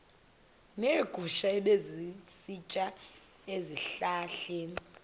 neegusha ebezisitya ezihlahleni